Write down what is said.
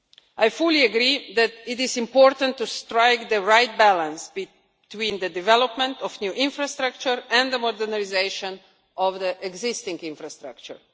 I fully agree that it is important to strike the right balance between the development of new infrastructure and the modernisation of the existing infrastructure.